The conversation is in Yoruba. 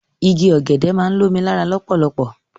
Igi ọ̀gẹ̀dẹ̀ máa ń lomi ni ara lọpọlọpọ